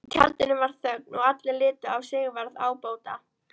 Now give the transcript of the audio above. Í tjaldinu varð þögn og allir litu á Sigvarð ábóta.